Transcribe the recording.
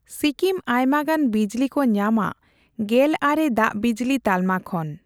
ᱥᱤᱠᱤᱢ ᱟᱭᱢᱟᱜᱟᱱ ᱵᱤᱡᱞᱤ ᱠᱚ ᱧᱟᱢᱟ ᱜᱮᱞ ᱟᱨᱮ ᱫᱟᱜᱵᱤᱡᱞᱤ ᱛᱟᱞᱢᱟ ᱠᱷᱚᱱ᱾